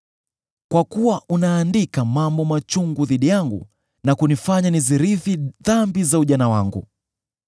Kwa kuwa unaandika mambo machungu dhidi yangu na kunifanya nizirithi dhambi za ujana wangu.